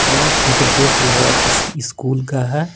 यहाँ फोटो देख लग रहा है किसी स्कूल का है।